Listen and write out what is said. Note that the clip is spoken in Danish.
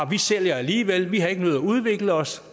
vi sælger alligevel vi har ikke nødig at udvikle os